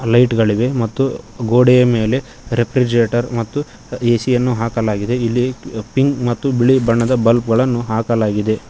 Light ಗಳಿವೆ ಮತ್ತು ಗೋಡೆಯ ಮೇಲೆ ರೆಫ್ರಿಜರೇಟರ್ ಮತ್ತು ಎ_ಸಿ ಯನ್ನು ಹಾಕಲಾಗಿದೆ ಇಲ್ಲಿ ಪಿಂಕ್ ಮತ್ತು ಬಿಳಿ ಬಣ್ಣದ ಬಲ್ಬ್ ಗಳನ್ನು ಹಾಕಲಾಗಿದೆ.